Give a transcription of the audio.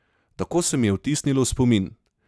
Tako se mi je vtisnilo v spomin!